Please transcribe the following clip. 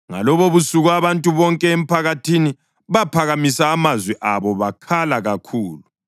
Ngalobobusuku abantu bonke emphakathini baphakamisa amazwi abo bakhala kakhulu.